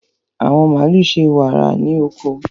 àwọn màlúù ṣe wàrà wàrà ní oko.